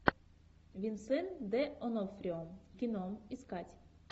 винсент д онофрио кино искать